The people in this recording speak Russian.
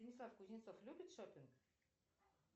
станислав кузнецов любит шоппинг